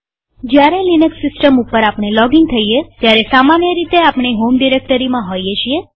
જયારે લિનક્સ સિસ્ટમમાં લોગિન થઈએ ત્યારે સામાન્ય રીતે આપણે હોમ ડિરેક્ટરીમાં હોઈએ છીએ